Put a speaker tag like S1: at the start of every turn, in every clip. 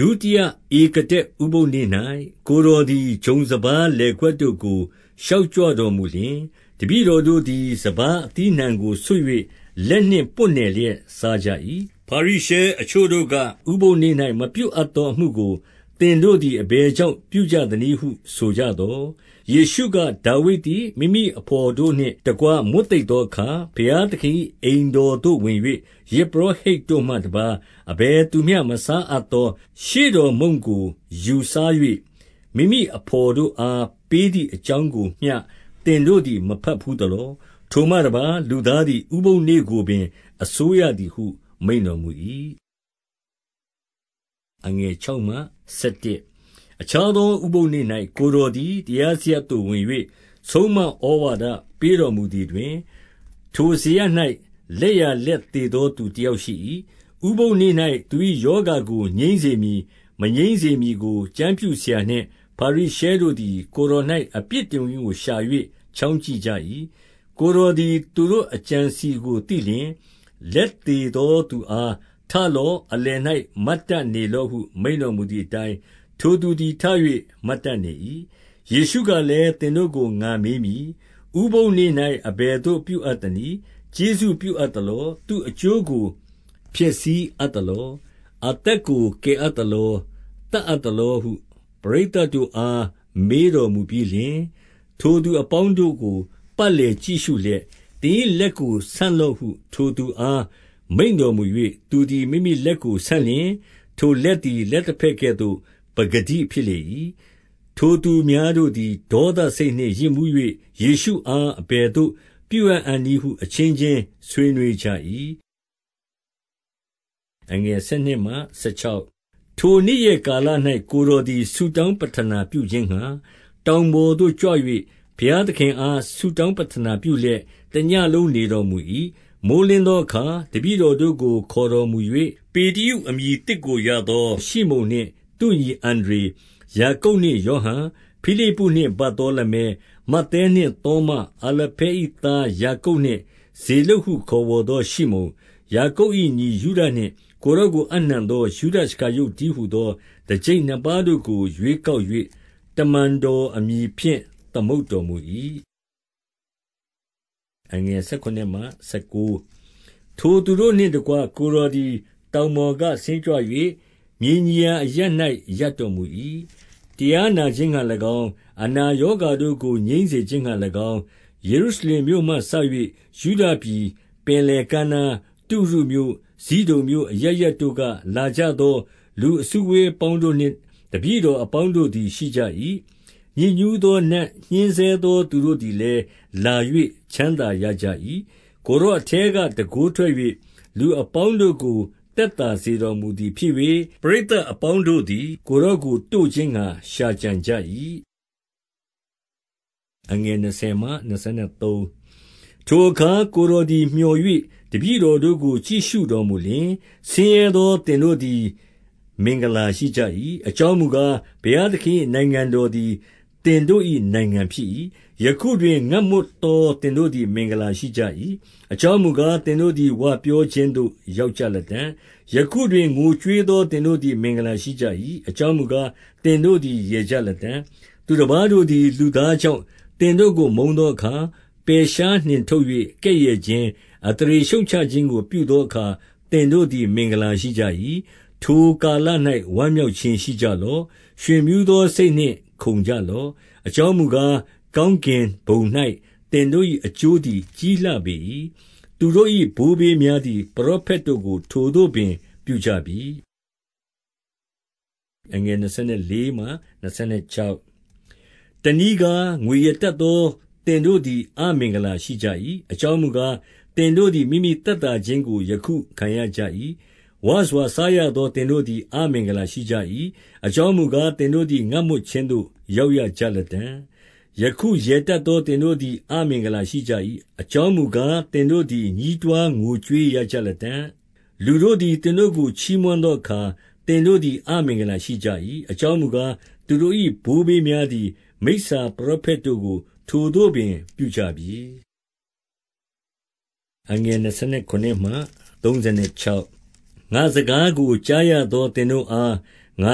S1: ဒုတိယဧကဒက်ဥပုသ်နေ့၌ ကိုယ်တော်သည် ဂျုံစပါးလယ်ကွက်တို့ကို ရှောင်ကြွတော်မူလျှင်၊ တပည့် တော်တို့သည် စပါးအသီးအနှံကိုဆွတ်၍ လက်နှင့်ပွတ်နယ်စားကြ၏။ ဖာရိရှဲအချို့တို့က၊ ဥပုသ်နေ့၌ မပြုအပ်သောအမှုကိုသင်တို့သည် အဘယ်ကြောင့်ပြုကြသနည်းဟု ဆို ကြသော်၊ ယေရှုက၊ ဒါဝိဒ်သည် မိမိအဘော်သို့နှင့်တကွ မွတ်သိပ်သောအခါ၊ ဘုရားသခင်၏ အိမ်တော်သို့ဝင်၍ ယဇ်ပုရောဟိတ်တို့မှတပါး အဘယ်သူမျှမစားအပ်သော ရှေ့တော် မုန့်ကို ယူစား၍၊ မိမိအဘော်တို့အားပေးသည်အကြောင်းကိုမျှ သင်တို့သည်မတတ်ဘူးသလော။ ထိုမှတပါး၊ လူသားသည် ဥပုသ်နေ့ကိုပင် အစိုးရသည်ဟု မိန့်တော်မူ၏။ အခြားသောဥပုသ်နေ့၌ ကိုယ်တော်သည်တရားစရပ်သို့ ဝင်၍ဆုံးမဩဝါဒ ပေးတော်မူသည်တွင်၊ ထိုစရပ်၌ လက်ျာလက်သေသောသူ တယောက်ရှိ၏။ ဥပုသ်နေ့၌ သူ၏ရောဂါကို ငြိမ်းစေမည် မငြိမ်းစေမည်ကို ကျမ်းပြုစရာနှင့်ဖာရိရှဲတို့သည် ကိုယ်တော်၌ အပြစ်တင်ခွင့်ကို ရှာ၍ချောင်းကြည့်ကြ၏။ ကိုယ်တော်သည် ထိုသူတို့အကြံအစည်ကိုသိလျှင်၊ လက်သေသောသူအား၊ ထလော့။ အလယ်၌ မတ် တတ်နေလော့ဟု မိန့်တော်မူသည်အတိုင်း ထိုသူသည်ထ၍ မတ်တတ်နေ၏။ ယေရှုကလည်း၊ သင်တို့ကိုငါမေးမည်။ ဥပုသ်နေ့၌ အဘယ်သို့ပြုအပ်တနည်း။ ကျေးဇူးပြုအပ်သလော။ သူ့အကျိုးကို ဖျက်ဆီးအပ်သလော။ အသက်ကို ကယ်အပ်သလော၊ သတ်အပ်သလောဟု ပရိတ်သတ်တို့အား မေးတော်မူပြီးလျှင်၊ ထိုသူ အပေါင်းတို့ကို ပတ်လည်ကြည့်ရှုလျက်၊ သင်၏လက်ကို ဆန့်လော့ဟု ထိုသူအားမိန့်တော်မူ၍ သူသည်မိမိလက်ကိုဆန့်လျှင်၊ ထိုလက်သည် လက်တဘက်ကဲ့သို့ ပကတိဖြစ်လေ၏။ ထိုသူများတို့သည် ဒေါသစိတ်နှင့် ယစ်မူး၍ ယေရှုအား အဘယ်သို့ပြုအံ့နည်းဟု အချင်းချင်း ဆွေးနွေး ကြ၏။ ထိုနေ့ရက်ကာလ၌ ကိုယ်တော်သည် ဆုတောင်းပဌနာပြုခြင်းငှါ တောင်ပေါ်သို့ကြွ၍ ဘုရားသခင်အား ဆုတောင်းပဌာနာပြုလျက် တညဉ့်နေတော်မူ၏။ မိုဃ်းလင်းသောအခါ တပည့်တော်တို့ကို ခေါ်တော်မူ၍၊ ပေတရုအမည်သစ်ကိုရသော ရှိမုန်နှင့်သူ့ညီ အန္ဒြေ၊ ယာကုပ်နှင့်ယောဟန်၊ ဖိလိပ္ပုနှင့် ဗာသောလမဲ၊ မဿဲနှင့်သောမ၊ အာလဖဲ၏သားယာကုပ်နှင့် ဇေလုပ်ဟုခေါ်ဝေါ်သော ရှိမုန်၊ ယာကုပ်၏ ညီယုဒနှင့် ကိုယ်တော်ကိုအပ်နှံသော ယုဒရှကာရုတ်တည်းဟူသော တကျိပ်နှစ်ပါးတို့ကို ရွေးကောက်၍ တမန်တော်အမည်ဖြင့် သမုတ်တော်မူ၏။ ထိုသူတို့နှင့်တကွ ကိုယ်တော်သည် တောင်ပေါ်ကဆင်းကြွ၍ မြေညီရာအရပ်၌ ရပ်တော်မူ၏။ တရား နာခြင်းငှါ၎င်း၊ ယေရုရှလင်မြို့မှစ၍ ယုဒပြည်။ ပင်လယ်ကမ်းနား၊ တုရုမြို့၊ ဇိဒုန်မြို့ အရပ်ရပ်တို့က လာကြ သော လူအစုအဝေးအပေါင်းတို့နှင့် တပည့်တော်အပေါင်းတို့သည် ရှိကြ၏။ ညစ်ညူးသော နတ်ညှင်းဆဲသောသူတို့သည်လည်း လာ၍ချမ်းသာရကြ၏။ ကိုယ်တော်အထဲက တန်ခိုးထွက်၍ လူအပေါင်းတို့ကို သက်သောစေတော်မူသည်ဖြစ်၍၊ ပရိတ်သတ် အပေါင်း တို့သည် ကိုယ်တော်ကိုတို့ခြင်းငှါ ရှာကြံကြ၏။ ထိုအခါ ကိုယ်တော်သည်မြော်၍ တပည့်တော်ကို ကြည့်ရှုတော်မူလျှင်၊ ဆင်းရဲသောသင်တို့သည် အင်္ဂလာရှိကြ၏။ အကြောင်းမူကား၊ ဘုရားသခင်၏ နိုင်ငံတော်သည် သင်တို့၏နိုင်ငံဖြစ်၏။ ယခုတွင် ငတ်မွတ်သောသင်တို့သည် မင်္ဂလာရှိကြ၏။ အကြောင်းမူကား၊ သင်တို့သည် ဝပြောခြင်းသို့ ရောက်ကြလတံ့။ ယခုတွင် ငိုကြွေးသော သင်တို့သည်မင်္ဂလာရှိကြ၏။ အကြောင်းမူကား၊ သင်တို့သည် ရယ်ကြ လတံ့။ သူတပါးတို့သည် လူသားကြောင့် သင်တို့ကိုမုန်းသောအခါ၊ ပယ်ရှားနှင်ထုတ်၍ ကဲ့ရဲ့ခြင်း၊ အသရေရှုတ်ချခြင်းကို ပြုသောအခါ သင်တို့သည် မင်္ဂလာရှိကြ၏။ ထိုကာလ၌ ဝမ်းမြောက်ခြင်းရှိကြလော့။ ရွင်မြူးသောစိတ်နှင့် ခုန်ကြလော့။ အကြောင်းမူကား၊ ကောင်းကင်ဘုံ၌ သင်တို့၏အကျိုးသည် ကြီးလှပေ၏။ သူတို့၏ဘိုးဘေးများသည် ပရောဖက်တို့ကို ထိုသို့ပင် ပြုကြပြီ။ တနည်းကား၊ ငွေရတတ်သောသင်တို့သည် အမင်္ဂလာရှိကြ၏။ အကြောင်မူကား၊ သင်တို့သည် မိမိ သက်သာခြင်းကို ယခုခံရကြ၏။ ဝစွာစားရသော သင်တို့သည် အမင်္ဂလာရှိကြ၏။ အကြောင်းမူကား၊ သင်တို့သည် ငတ်မွတ်ခြင်းသို့ ရောက်ရကြလတံ့။ ယခုရယ်တတ်သောသင်တို့သည် အမင်္ဂလာရှိကြ၏။ အကြောင်းမူကား၊ သင်တို့သည် ညည်း တွားငိုကြွေးရကြလတံ့။ လူတို့သည် သင်တို့ကို ချီးမွမ်းသောအခါ၊ သင်တို့သည် အမင်္ဂလာရှိကြ၏။ အကြောင်းမူကား၊ သူတို့၏ ဘိုးဘေးများသည် မိစာပရောဖက်တို့ကို ထိုသို့ပင် ပြုကြပြီ။ ငါ့စကားကိုကြားရသော သင်တို့အား ငါ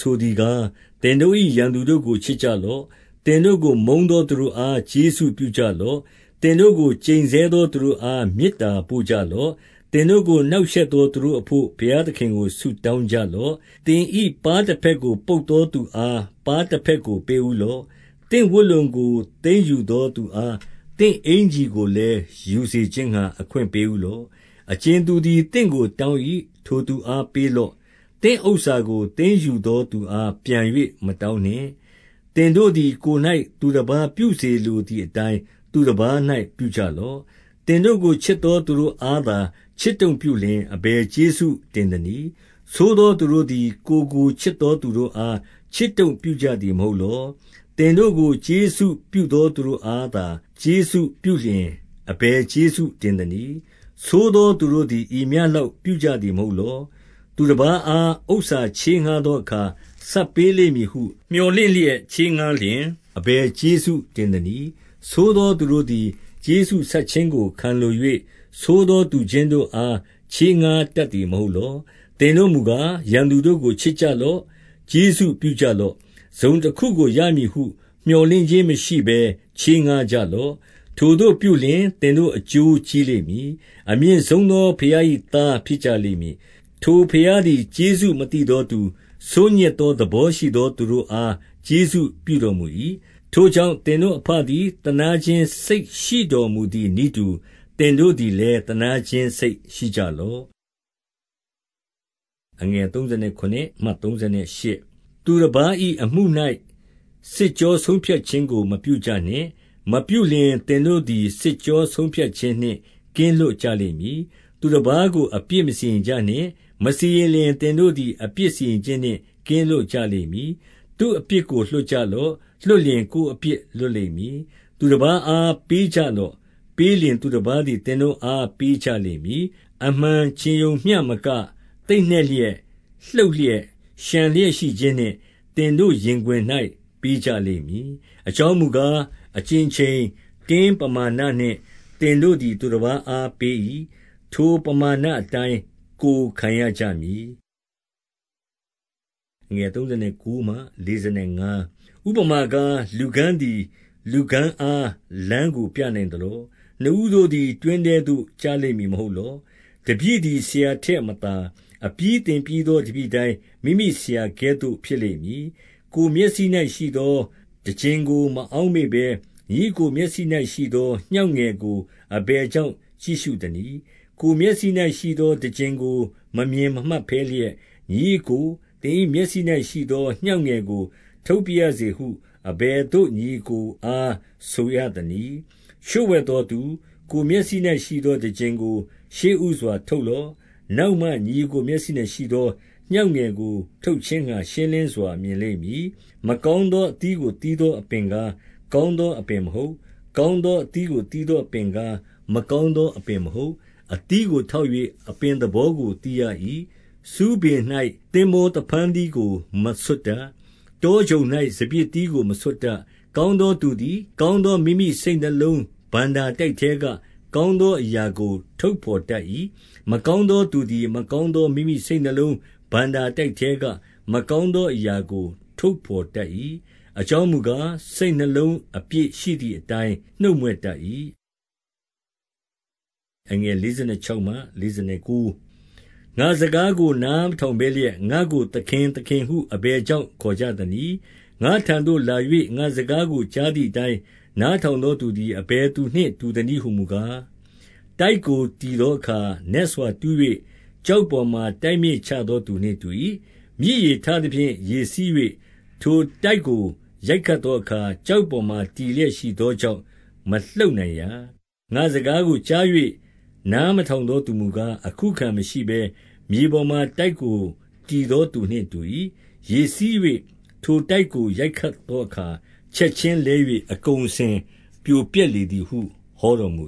S1: ဆိုသည်ကား၊ သင်တို့၏ ရန်သူတို့ကို ချစ်ကြလော့။ သင်တို့ကို မုန်းသောသူတို့အား ကျေးဇူးပြုကြလော့။ သင်တို့ကို ကျိန်ဆဲသောသူတို့အား မေတ္တာပို့ကြလော့။ သင်တို့ကို နှောင့်ရှက်သောသူတို့အဘို့ ဘုရား သခင်ကို ဆုတောင်းကြလော့။ သင်၏ ပါးတဘက်ကို ပုတ်သောသူအား ပါးတဘက်ကိုပေးဦးလော့။ သင့်ဝတ်လုံကို သိမ်းယူသော သူအား သင့်အင်္ကျီကိုလည်း ယူစေခြင်းငှါ အခွင့်ပေးဦးလော့။ အကြင်သူသည် သင့်ကိုတောင်း၏။ ထိုသူအားပေးလော့။ သင့်ဥစ္စာကို သိမ်းယူသောသူအားပြန်၍ မ တောင်းနှင့်။ သင်တို့သည် ကိုယ်၌သူတပါး ပြုစေလိုသည်အတိုင်း သူတပါး၌ ပြုကြလော့။ သင်တို့ကို ချစ်သောသူတို့အားသာ ချစ်တုံ့ပြုလျှင် အဘယ်ကျေးဇူးတင်သနည်း။ ဆိုးသောသူတို့သည် ကိုယ်ကိုချစ်သောသူတို့အား ချစ်တုံ့ပြုကြသည် မဟုတ်လော။ သင်တို့ကို ကျေးဇူးပြုသောသူတို့အားသာ ကျေးဇူးပြုလျှင် အဘယ်ကျေးဇူးတင်သနည်း။ ဆိုးသော သူတို့သည် ဤမျှလောက် ပြုကြသည်မဟုတ်လော့။ သူတပါးအား ဥစ္စာချေးငှါးသောအခါ ဆပ်ပေးလိမ့်မည်ဟု မြော်လင့်လျက် ချေးငှါးလျှင် အဘယ် ကျေးဇူးတင်သနည်း။ ဆိုးသောသူတို့သည် ကျေးဇူးဆပ်ခြင်းကိုခံလို၍ ဆိုးသောသူချင်းတို့အား ချေးငှါးတတ် သည် မဟုတ်လော။ သင်တို့မူကား ရန်သူတို့ကိုချစ်ကြသလော။ ကျေးဇူးပြုကြလော့။ တစုံတခုကိုရမည်ဟု မြော်လင့်ခြင်း မရှိဘဲ ချေးငှါးကြလော့။ ထိုသို့ပြုလျှင် သင်တို့အကျိုးကြီးလိမ့်မည်။ အမြင့်ဆုံသောဘုရား၏ သားဖြစ်ကြလိမ့် မည်။ ထိုဘုရားသည် ကျေးဇူးမသိသောသူ၊ ဆိုးညစ်သောသဘောရှိသော သူတို့အားကျေးဇူးပြုတော်မူ၏။ ထိုကြောင့် သင်တို့အဘသည် သနားခြင်းစိတ်ရှိတော်မူသည်နည်းတူ သင်တို့သည်လည်း သနားခြင်းစိတ်ရှိကြ လော့။ သူတပါး၏အမှု၌ စစ်ကြောဆုံးဖြတ်ခြင်းကို မပြုကြနှင့်။ မပြုလျှင်သင်တို့သည် စစ်ကြောဆုံးဖြတ်ခြင်း နှင့် ကင်းလွတ်ကြလိမ့်မည်။ သူအပါးကို အပြစ်မစီရင်ကြနှင့်။ မစီရင်လျှင်သင်တို့သည် အပြစ်စီရင်ခြင်းနှင့် ကင်းလွတ်ကြလိမ့်မည်။ သူ့အပြစ်ကို လွှတ်ကြလော့။ လွှတ်လျှင် ကိုယ်အပြစ်လွတ်လိမ့်မည်။ သူတပါးအားပေးကြလော့။ ပေးလျှင် သူတပါးသည် သင်တို့အားပေးကြလိမ့်မည်။ အမှန်ခြင်းရုံမျှမက၊ သိပ်နှက်လျက်၊ လှုပ်လျက်၊ လျှံလျက်ရှိခြင်းနှင့် သင်တို့ရင်ခွင်၌ ပေးကြလိမ့်မည်။ အကြောင်းမူကား၊ အကြင်ချိန်၊ တင်းပမာဏနှင့် သင်တို့သည် သူတပါးအားပေး၏၊ ထိုပမာဏအတိုင်း ကိုယ်ခံရကြမည်။ ဥပမာကား၊ လူကန်းသည် လူကန်းကို လမ်းပြနိုင်သလော။ နှစ်ဦးတို့သည် တွင်းထဲသို့ကျလိမ့်မည် မဟုတ်လော။ တပည့်သည် ဆရာထက်မသာ။ အပြီးသင်ပြီးသော တပည့်တိုင်း မိမိဆရာကဲ့သို့ ဖြစ်လိမ့်မည်။ ကိုယ်မျက်စိ၌ ရှိသောတံကျင်ကို အအောက်မမေ့ဘဲ၊ ညီအစ်ကိုမျက်စိ၌ရှိသော ငြောင့်ငယ်ကို အဘယ် ကြောင့် ကြည့်ရှုသနည်း။ ကိုယ်မျက်စိ၌ရှိသော တံကျင်ကို မမြင်မှတ်ဘဲလျက်၊ ညီအစ်ကို၊ သင်၏မျက်စိ၌ရှိသော ငြောင့်ငယ်ကို ထုတ်ပါရစေဟု အဘယ်သို့ညီအစ်ကိုအားဆိုရသနည်း။ လျှိုဝှက်သောသူ၊ ကိုယ်မျက်စိ၌ရှိသောတံကျင်ကို ရှေ့ဦး စွာထုတ်လော့။ နောက်မှ ညီအစ်ကို မျက်စိ၌ရှိသော ငြောင့်ငယ်ကိုထုတ်ခြင်းငှါ ရှင်းလင်းစွာမြင်လိမ့်မည်။ မကောင်းသောအသီးကိုသီးသော အပင်ကား၊ ကောင်းသောအပင်မဟုတ်။ ကောင်းသောအသီးကို သီးသော အပင်ကား၊ မကောင်းသောအပင်မဟုတ်။ အသီးကိုထောက်၍ အပင်သဘောကိုသိရ၏။ ဆူးပင်၌ သင်္ဘောသဖန်းသီးကို မဆွတ်တတ်။ တောချုံ ၌ စပျစ်သီးကိုမဆွတ်တတ်။ ကောင်းသောသူသည် ကောင်းသော မိမိစိတ်နလုံး အဏ္ဍာတိုက်ထဲကကောင်းသောအရာကို ထုတ် ဘော်တတ်၏။ မကောင်းသောသူသည် မကောင်းသောအရာကိုထုတ်ဘော်တတ်၏။ အကြောင်းမူကား၊ စိတ် နှလုံးအပြည့်ရှိသည်အတိုင်း နှုတ်မြွတ်တတ်၏။ ငါ့စကားကို နားမထောင်ဘဲလျက်၊ ငါ့ကိုသခင်၊ သခင်ဟု အဘယ်ကြောင့်ခေါ်ကြသနည်း။ ငါ့ထံသို့လာ၍ ငါ့စကားကိုကြားသည်အတိုင်း နားထောင်သောသူသည် အဘယ်သူနှင့် တူသနည်း ဟူမူကား၊ တိုက်ကိုတည်သောအခါ နက်စွာတူး၍ ကျောက်ပေါ်မှာတိုက်မြစ်ချသောသူနှင့်တူ၏။ မြစ်ရေထသဖြင့် ရေစီး၍ ထိုတိုက်ကိုရိုက်ခတ်သောအခါ ကျောက်ပေါ်မှာ တည်လျက်ရှိသောကြောင့် မလှုပ်နိုင်ရာ။ ငါ့စကားကိုကြား၍ နားထောင်သောသူမူကား၊ အခုအခံမရှိဘဲ မြေပေါ်မှာ တိုက်ကိုတည်သောသူနှင့် တူ၏။ ရေစီး၍ ထိုတိုက်ကိုရိုက်ခတ်သောအခါ၊ ချက်ခြင်းလဲ၍ အကုန်အစင်ပြိုပျက်လေသည်ဟု ဟောတော်မူ